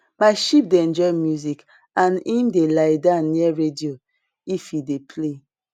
my sheep dey enjoy music and em dey lie down near radio if e dey play